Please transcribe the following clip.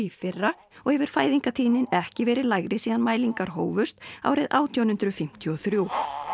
fyrra og hefur fæðingartíðnin ekki verið lægri síðan mælingar hófust árið átján hundruð fimmtíu og þrjú